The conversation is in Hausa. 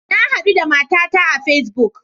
Na hadu da matata a Facebook.